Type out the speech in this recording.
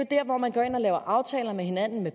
der hvor man går ind og laver aftaler med hinanden